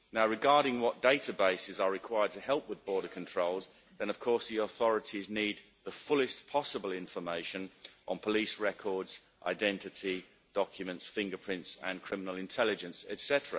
Regarding what databases are required to help with border controls, of course the authorities need the fullest possible information on police records, identity documents, fingerprints, criminal intelligence, etc.